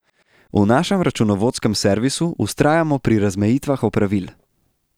V našem računovodskem servisu vztrajamo pri razmejitvah opravil.